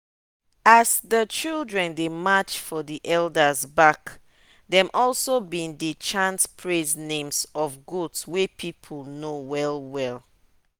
as the children dey march for the elders back dem also been dey chant praise names of goats wey people know well well.